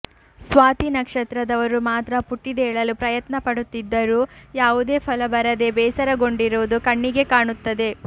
ಸ್ವಾತಿ ನಕ್ಷತ್ರದವರು ಮಾತ್ರ ಪುಟಿದೇಳಲು ಪ್ರಯತ್ನ ಪಡುತ್ತಿದ್ದರೂ ಯಾವುದೇ ಫಲ ಬರದೇ ಬೇಸರಗೊಂಡಿರುವುದು ಕಣ್ಣಿಗೆ ಕಾಣುತ್ತದೆ